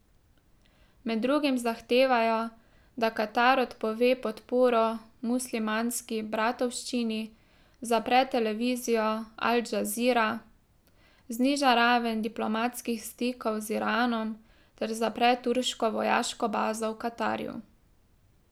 Med drugim zahtevajo, da Katar odpove podporo Muslimanski bratovščini, zapre televizijo Al Džazira, zniža raven diplomatskih stikov z Iranom ter zapre turško vojaško bazo v Katarju.